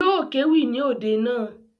Yóò kéwì ní òde naa